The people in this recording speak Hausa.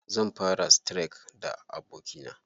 Zan fara streak da abokina.